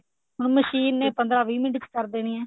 ਹੁਣ ਮਸ਼ੀਨ ਨੇ ਪੰਦਰਾ ਵੀਹ ਮਿੰਟ ਚ ਕਰ ਦੇਣੀ ਐ